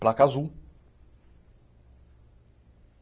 Placa azul.